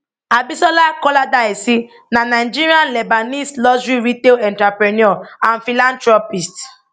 abisola koladaisi na nigerian lebanese luxury retail entrepreneur and philanthropist